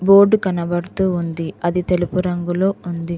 Board కనబడుతూ ఉంది అది తెలుపు రంగులో ఉంది.